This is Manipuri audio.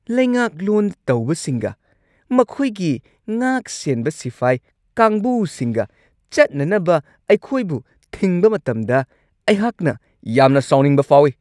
ꯂꯩꯉꯥꯛꯂꯣꯟ ꯇꯧꯕꯁꯤꯡꯒ ꯃꯈꯣꯏꯒꯤ ꯉꯥꯛꯁꯦꯟꯕ ꯁꯤꯐꯥꯏ ꯀꯥꯡꯕꯨꯁꯤꯡꯒ ꯆꯠꯅꯅꯕ ꯑꯩꯈꯣꯏꯕꯨ ꯊꯤꯡꯕ ꯃꯇꯝꯗ ꯑꯩꯍꯥꯛꯅ ꯌꯥꯝꯅ ꯁꯥꯎꯅꯤꯡꯕ ꯐꯥꯎꯋꯤ ꯫